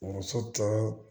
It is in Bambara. Muso tɔw